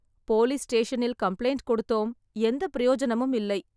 Police ஸ்டேஷனில் complaint கொடுத்தோம் எந்த பிரயோஜனமும் இல்லை.